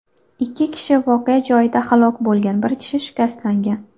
Ikki kishi voqea joyida halok bo‘lgan, bir kishi shikastlangan.